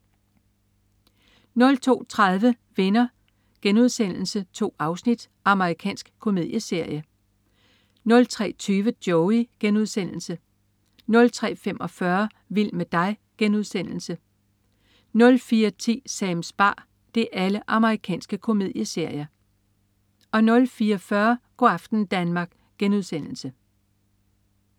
02.30 Venner.* 2 afsnit. Amerikansk komedieserie 03.20 Joey.* Amerikansk komedieserie 03.45 Vild med dig.* Amerikansk komedieserie 04.10 Sams bar. Amerikansk komedieserie 04.40 Go' aften Danmark*